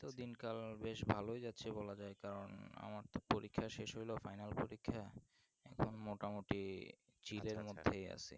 এইতো দিন কাল বেশ ভালোই যাচ্ছে বলা যাই কারণ আমার তো পরীক্ষা শেষ হলো final পরীক্ষা এখন মোটামুটি